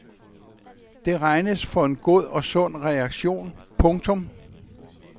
Det regnes for en god og sund reaktion. punktum